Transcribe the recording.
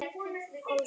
Þið eruð ekki þjóðin!